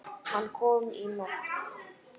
Hann kom í nótt.